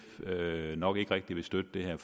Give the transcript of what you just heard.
nok ikke rigtig vil støtte det her